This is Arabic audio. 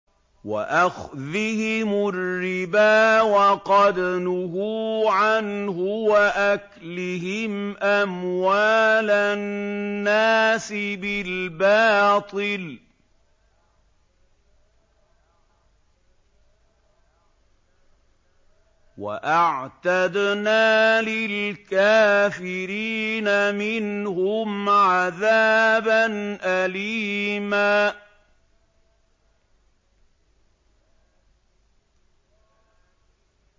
وَأَخْذِهِمُ الرِّبَا وَقَدْ نُهُوا عَنْهُ وَأَكْلِهِمْ أَمْوَالَ النَّاسِ بِالْبَاطِلِ ۚ وَأَعْتَدْنَا لِلْكَافِرِينَ مِنْهُمْ عَذَابًا أَلِيمًا